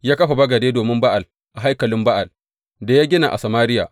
Ya kafa bagade domin Ba’al a haikalin Ba’al da ya gina a Samariya.